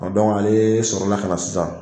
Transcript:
ale sɔrɔ la ka na sisan.